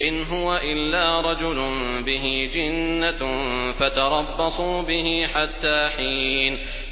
إِنْ هُوَ إِلَّا رَجُلٌ بِهِ جِنَّةٌ فَتَرَبَّصُوا بِهِ حَتَّىٰ حِينٍ